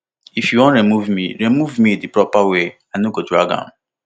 if you wan remove me remove me di proper way i no go drag am